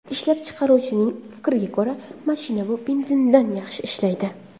Ishlab chiqaruvchining fikriga ko‘ra, mashina bu benzindan yaxshi ishlaydi.